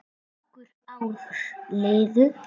Nokkur ár liðu.